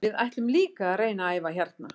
Við ætlum líka að reyna að æfa hérna.